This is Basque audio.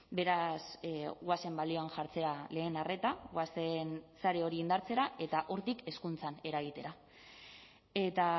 beraz goazen balioan jartzea lehen arreta goazen sare hori indartzera eta hortik hezkuntzan eragitea eta